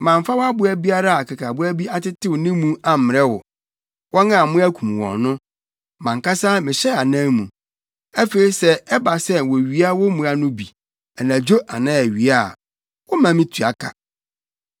Mamfa wʼaboa biara a akekaboa bi atetew ne mu ammrɛ wo; wɔn a mmoa kum wɔn no, mʼankasa mehyɛɛ anan mu. Afei sɛ ɛba sɛ wowia wo mmoa no bi, anadwo anaa awia a, woma mitua ka.